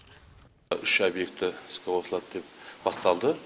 үш объекті іске қосылады деп басталды